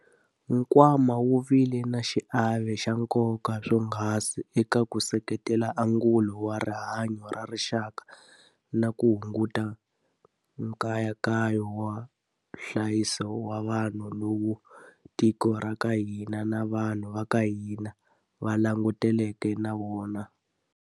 Nkwama wu vile na xiave xa nkoka swonghasi eka ku seketela angulo wa rihanyo ra rixaka na ku hunguta nkayakayo wa nhlayiso wa vanhu lowu tiko ra ka hina na vanhu va ka hina a va langutane na wona.